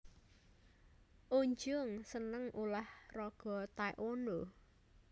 Eun Jung seneng ulah raga Tae Kwon Do